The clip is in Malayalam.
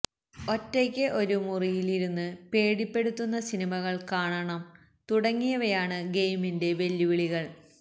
ഒറ്റയ്ക്ക് ഒരു മുറിയില് ഇരുന്ന് പേടിപ്പെടുത്തുന്ന സിനിമകള് കാണണം തുടങ്ങിയവയാണ് ഗെയിമിന്റെ വെല്ലുവിളികള്